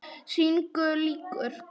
Sýningu lýkur.